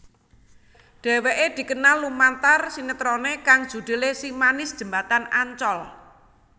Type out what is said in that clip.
Dhéwéké dikenal lumantar sinetroné kang judhulé Si Manis Jembatan Ancol